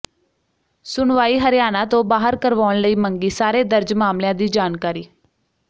ਸੁਣਵਾਈ ਹਰਿਆਣਾ ਤੋਂ ਬਾਹਰ ਕਰਵਾਉਣ ਲਈ ਮੰਗੀ ਸਾਰੇ ਦਰਜ ਮਾਮਲਿਆਂ ਦੀ ਜਾਣਕਾਰੀ